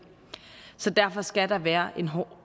så derfor skal der være en hård